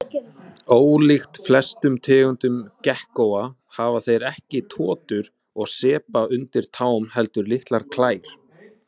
Ólíkt flestum tegundum gekkóa hafa þeir ekki totur og sepa undir tám heldur litlar klær.